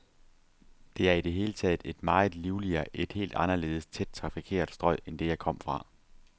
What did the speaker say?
Det er i det hele taget et meget livligere, et helt anderledes tæt trafikeret strøg end det, jeg kom fra.